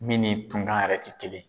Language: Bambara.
Min ni tunkan yɛrɛ tɛ kelen.